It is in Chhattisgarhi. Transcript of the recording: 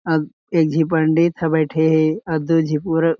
अउ एक झी पंडित ह बईठे हे अउ दू झी पुरव--